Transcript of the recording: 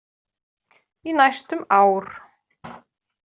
Í næstum ár.